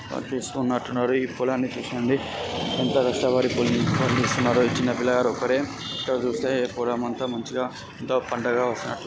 ఈ పొలాన్ని చూస్తుండే ఎంతో కష్టపడుతూ ఈ చిన్న పిల్ల గాడు ఒకడే ఇక్కడ చూస్తే పొలం అంతా మంచిగా ఎంతో పంటగా వస్తునట్టుగా --